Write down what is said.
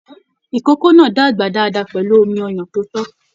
Ìkókó náà dàgbà dáadáa pẹlú omí ọyàn tó to.